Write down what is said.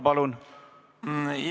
Palun, Kalvi Kõva!